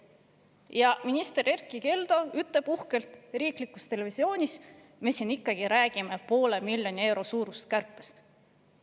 Aga minister Erkki Keldo ütleb uhkelt riiklikus televisioonis, et me räägime ikkagi poole miljoni euro suurusest kärpest.